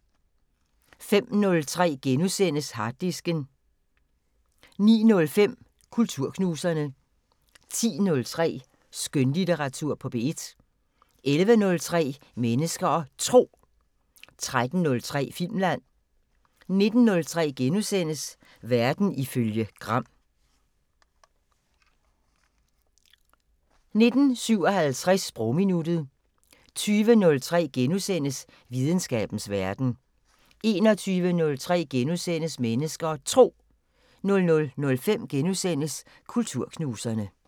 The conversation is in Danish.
05:03: Harddisken * 09:05: Kulturknuserne 10:03: Skønlitteratur på P1 11:03: Mennesker og Tro 13:03: Filmland 19:03: Verden ifølge Gram * 19:57: Sprogminuttet 20:03: Videnskabens Verden * 21:03: Mennesker og Tro * 00:05: Kulturknuserne *